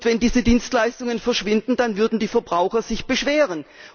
Und wenn diese Dienstleistungen verschwinden, dann würden sich die Verbraucher beschweren.